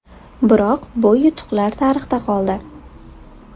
Biroq bu yutuqlar tarixda qoldi.